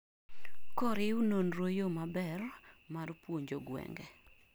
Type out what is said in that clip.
koriw nonro yo maber mar puonjo gwenge